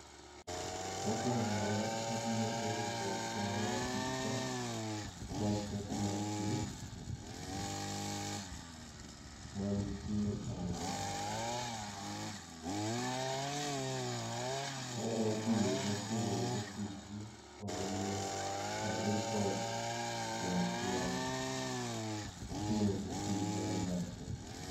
Mokwongo abiro oro oboke ne apisa mar teko mar pi mantie alwora. Anyalo dhi machiegni go fisgi mondo mi a ripot wach mar nengo pi man malo.